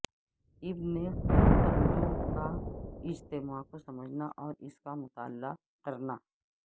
ابن خلدوں کا اجتماع کو سمجھنا اور اس کا مطالعہ کرنا